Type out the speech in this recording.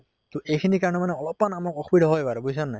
তʼ এইখিনিৰ কাৰণে মানে অলপ মান আমাৰ অসুবিধা হয় বাৰু বুইছা নে নাই